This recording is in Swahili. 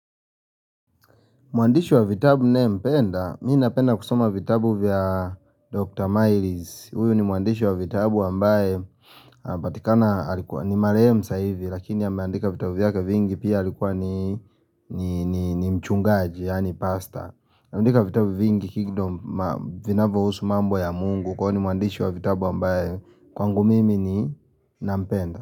Mwandishi wa vitabu nayempenda? Mi napenda kusuma vitabu vya Dr. Myles. Huyu ni mwandishi wa vitabu ambaye patikana alikuwa ni marehemu sasa ivi lakini ameandika vitabu vyake vingi pia alikuwa ni ni mchungaji yani pastor. Ameandika vitabu vingi kingdom vinavyohusu mambo ya Mungu kwani mwandishi wa vitabu ambaye kwangu mimi ninampenda.